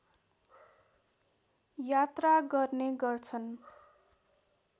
यात्रा गर्ने गर्छन्